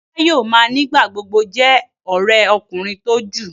Àjà yóò má nigba-gbogbo jé òré ọkùnrin tó jù.